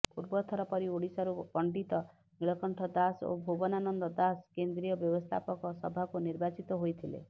ପୂର୍ବଥର ପରି ଓଡ଼ିଶାରୁ ପଣ୍ଡିତ ନୀଳକଣ୍ଠ ଦାସ ଓ ଭୁବନାନନ୍ଦ ଦାସ କେନ୍ଦ୍ରୀୟ ବ୍ୟବସ୍ଥାପକ ସଭାକୁ ନିର୍ବାଚିତ ହୋଇଥିଲେ